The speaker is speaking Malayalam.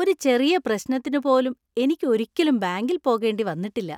ഒരു ചെറിയ പ്രശ്നത്തിനു പോലും എനിക്ക് ഒരിക്കലും ബാങ്കിൽ പോകേണ്ടി വന്നിട്ടില്ല.